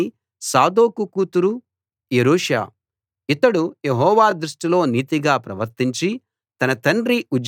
ఇతడు యెహోవా దృష్టిలో నీతిగా ప్రవర్తించి తన తండ్రి ఉజ్జియా ఆదర్శాన్ని పూర్తిగా అనుసరించాడు